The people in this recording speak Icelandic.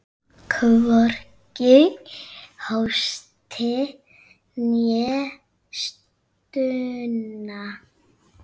Hvorki hósti né stuna.